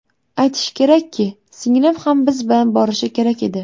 Aytish kerakki, singlim ham biz bilan borishi kerak edi.